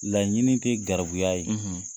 Laɲini te garibuya ye